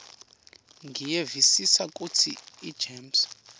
ngiyevisisa kutsi igems